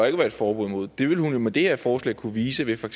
ikke være et forbud mod det ville hun jo med det her forslag kunne vise ved for